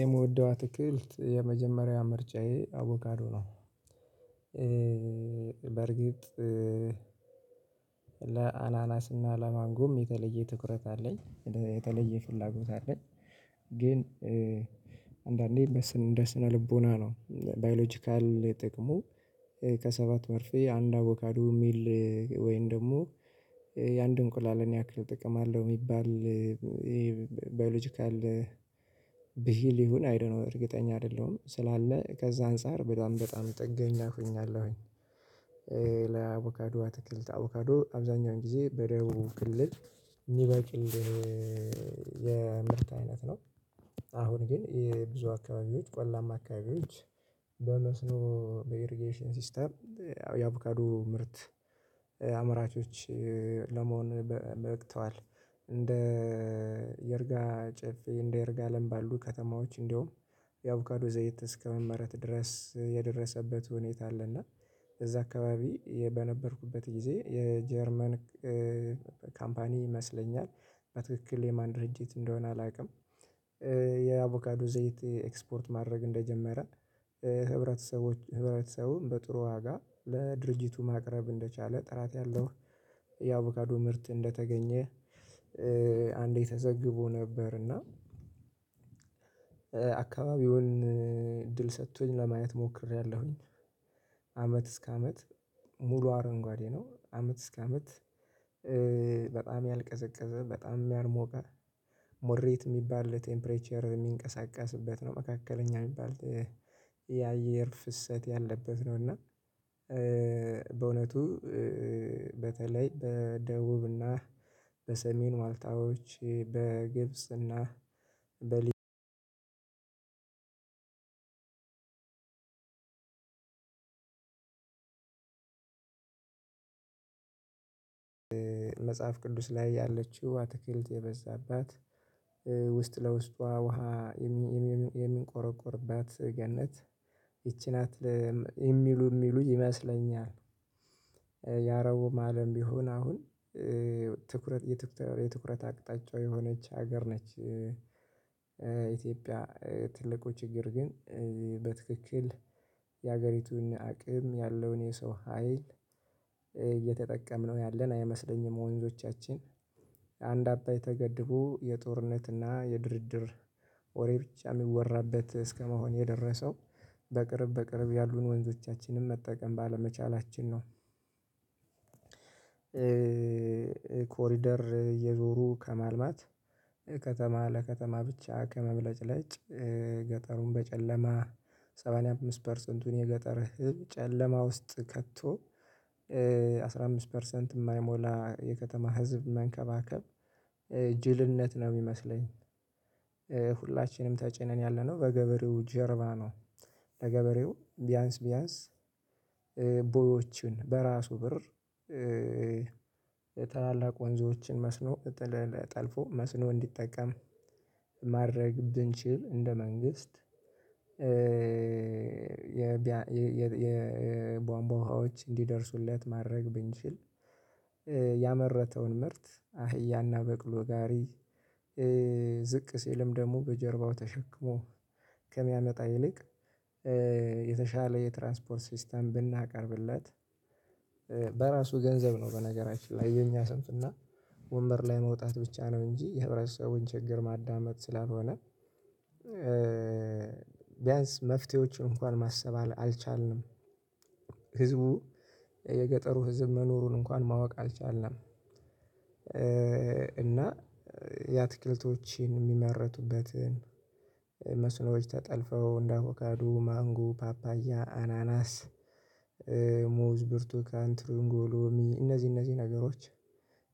የምወደው አትክልት የመጀመሪያ ምርጫዬ አቦካዶ ነው። በእርግጥ ለአናናስ እና ለማንጎም የተለየ ትኩረት አለኝ የተለየ ፍላጎት አለኝ። ግን አንዳንዴ በስነ ልቦና ነው ባዮሎጂካል ጥቅሙ ከሰባት መርፌ አንድ አቦካዱ የሚል ወይን ደግሞ የአንድ እንቁላልን ያክል ጥቅም አለው የሚባል ይሄ ባዮሎጂካል ብሂል ይሁን አይዶንት ኖ እርግጠኛ አይደለሁም ስላለ ከዛ አንፃር በጣም በጣም ጥገኛ ሆኛለው። ለአቮካዶ አትክልት አቮካዶ አብዛኛውን ጊዜ በደቡብ ክልል ምበቅል የምርት አይነት ነው። አሁን ግን የብዙ አካባቢዎች ቆላማ አካባቢዎች በመስኖ በኢርጌሽን ሲስተም ያው የአቮካዱ ምርት አምራቾች ለመሆን በቅተዋል። እንደ ይርጋ ጨፌ እንደ የርጋ አለም ባሉ ከተማዎች እንደውም የአቮካዶ ዘይት እስከመመረት ድረስ የደረሰበት ሁኔታ አለና እዛ አካባቢ በነበርኩበት ጊዜ የጀርመን ካምፓኒ ይመስለኛል በትክክል የማን ድርጅት እንደሆነ አላውቅም። የአቮካዱ ዘይት ኤክስፖርት ማድረግ እንደጀመረ ህብረተሰቦች ህብረተሰቡን በጥሩ ዋጋ ለድርጅቱ ማቅረብ እንደቻለ ጥራት ያለው አቮካዱ ምርት እንደተገኘ። አንዴ ተዘግቦ ነበር እና አካባቢውን እድል ሰጥቶኝ ለማየት ሞክሬያለሁኝ። አመት እስከ አመት ሙሉ አረንጓዴ ነው አመት እስከ አመት በጣም ያልቀዘቀዘ በጣም የልሞቀ ሞሬት የሚባል ቴምፕሬቸር የሚንቀሳቀስበት ነው። መካከለኛ የሚባል የአየር ፍሰት ያለበት ነው። እና በእውነቱ በተለይ በደቡብና በሰሜን ዋልታዎች በግብጽና በሊ መጽሐፍ ቅዱስ ላይ ያለችው አትክልት የበዛባት ውስጥ ለውስጧ ውሃ የሚንቆረቆርባት ገነት ይቺ ናት የሚሉ የሚሉ ይመስለኛል ያአረቡም አለም ቢሆን አሁን ትኩረት የትኩረት አቅጣጫው የሆነች ሀገር ነች። ኢትዮጵያ ትልቁ ችግር ግን በትክክል የሀገሪቱን አቅም ያለውን የሰው ሀይል እየተጠቀምን ያለን አይመስለኝም። ወንዞቻችን አንድ አባይ ተገድቦ የጦርነትና የድርድር ወሬ ብቻ የሚወራበት እስከመሆን የደረሰው በቅርብ በቅርብ ያሉን ወንዞቻችንን መጠቀም ባለመቻላችን ነው። ኮሪደር እየዞሩ ከማልማት ከተማ ለከተማ ብቻ ከመብለጭለጭ ገጠሩን በጨለማ ሰባንያ አምስት ፐርሰንቱን የገጠር ህዝብ ጨለማ ውስጥ ከቶ አስራ አምስት ፐርሰንት የማይሞላ የከተማ ህዝብ መንከባከብ ጅልነት ነው የሚመስለኝ። ሁላችንም ተጭነን ያለነው በገበሬው ጀርባ ነው። ለገበሬው ቢያንስ ቢያንስ ቦዮችን በራሱ ብር የታላላቅ ወንዞችን መስኖ ጠልፎ መስኖ እንዲጠቀም ማድረግ ብንችል እንደ መንግስት የቧንቧ ውሃዎች እንዲደርሱለት ማድረግ ብንችል ያመረተውን ምርት አህያና በቅሎ ጋሪ ዝቅ ሲልም ደግሞ በጀርባው ተሸክሞ ከሚያመጣ ይልቅ የተሻለ የትራንስፖርት ሲስተም ብናቀርብለት በራሱ ገንዘብ ነው በነገራችን ላይ የኛ ስንፍና ወንበር ላይ መውጣት ብቻ ነው እንጂ የህብረተሰቡን ችግር ማዳመጥ ስላልሆነ ቢያንስ መፍትሄዎች እንኳን ማሰብ አልቻልንም። ህዝቡ የገጠሩ ህዝብ መኖሩን እንኳን ማወቅ አልቻልንም። እና የአትክልቶችን የሚመረቱበትን መስኖች ተጠልፈው እንዳ አቦካዶ ማንጉ ፓፓያ አናናስ ሙዝ ብርቱካን ትሩንጎ ሎሚ እነዚህ እነዚህ ነገሮች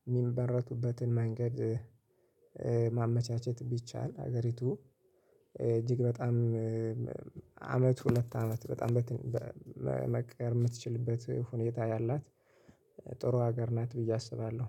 የሚመረቱበትን መንገድ ማመቻቸት ቢቻል ሀገሪቱ እጅግ በጣም አመት ሁለት አመት በጣም መቀየር የምትችልበት ሁኔታ ያላት ጥሩ ሀገር ናት ብዬ አስባለሁ